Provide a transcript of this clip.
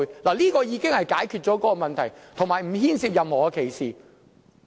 這項定義已經解決了相關問題，亦不牽涉任何歧視。